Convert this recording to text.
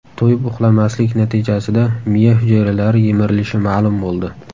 To‘yib uxlamaslik natijasida miya hujayralari yemirilishi ma’lum bo‘ldi.